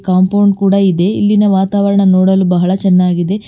Compound ಕೂಡ ಇದೆ ಇಲ್ಲಿನ ವಾತಾವರಣ ನೋಡಲು ಬಹಳ ಚೆನ್ನಾಗಿದೆ.